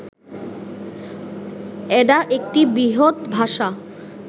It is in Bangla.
অ্যাডা একটি বৃহত ভাষা